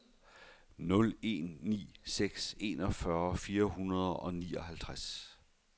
nul en ni seks enogfyrre fire hundrede og nioghalvtreds